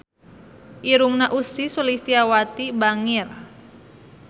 Irungna Ussy Sulistyawati bangir